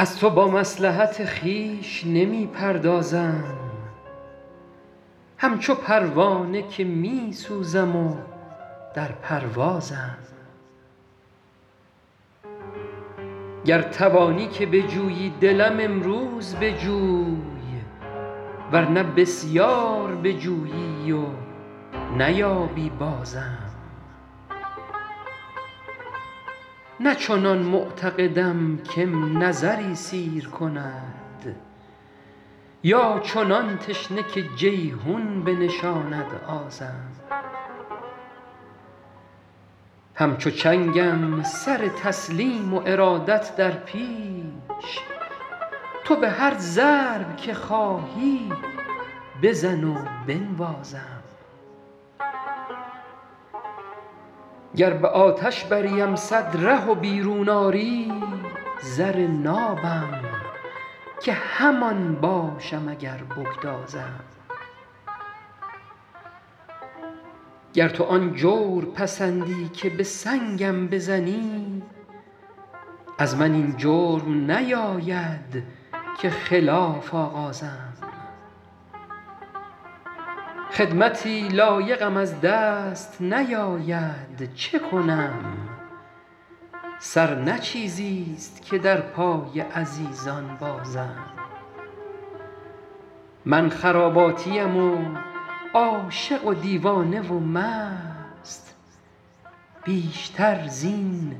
از تو با مصلحت خویش نمی پردازم همچو پروانه که می سوزم و در پروازم گر توانی که بجویی دلم امروز بجوی ور نه بسیار بجویی و نیابی بازم نه چنان معتقدم که م نظری سیر کند یا چنان تشنه که جیحون بنشاند آزم همچو چنگم سر تسلیم و ارادت در پیش تو به هر ضرب که خواهی بزن و بنوازم گر به آتش بریم صد ره و بیرون آری زر نابم که همان باشم اگر بگدازم گر تو آن جور پسندی که به سنگم بزنی از من این جرم نیاید که خلاف آغازم خدمتی لایقم از دست نیاید چه کنم سر نه چیزیست که در پای عزیزان بازم من خراباتیم و عاشق و دیوانه و مست بیشتر زین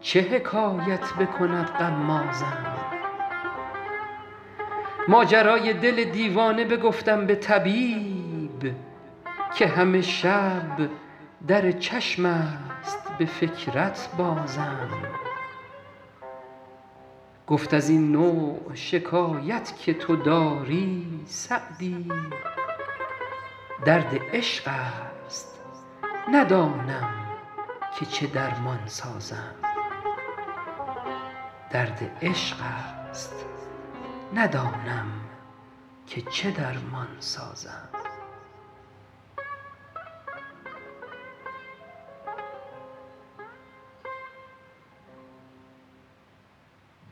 چه حکایت بکند غمازم ماجرای دل دیوانه بگفتم به طبیب که همه شب در چشم است به فکرت بازم گفت از این نوع شکایت که تو داری سعدی درد عشق است ندانم که چه درمان سازم